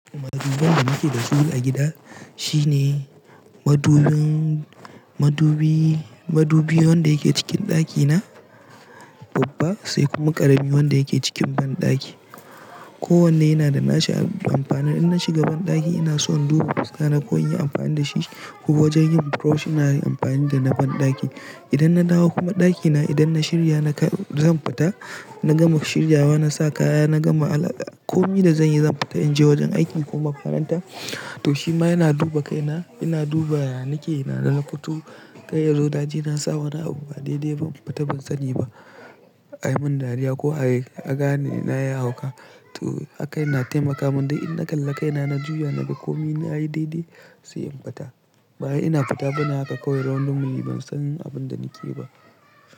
Maduba da muke da su a gida shine madubin madubin wanda yake cikin ɗakina babba, sai kuma ƙarami wanda yake cikin banɗaki. Kowane yana da nashi amfani. Idan na shiga banɗaki ina so in duba fuksa, na koyi amfani da shi ko wajen yin brush ina amfani da na banɗaki. Idan na dawo kuma ɗakina, idan na shirya zan fita, na gama shiryawa, nasa kaya, na gama komai da zan yi, zan fita in je wajen aikin ko makaranta. To shi ma yana duba kaina, ina duba yanake, ina da fito kar ya zo dai naje, na tsawa da abu ba daidai ba, fita ban sani ba. Ya yi mun dariya ko a ga na yi hauka. To haka yana taimaka mun dai idan na kalla kaina na juya na ga komai, na yi daidai sai in fita. Bayan ina fita, bana haka kawai rundumi ban san abin da nake yi ba.